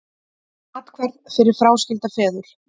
Athvarf fyrir fráskilda feður